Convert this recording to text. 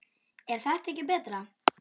er þetta ekki betra?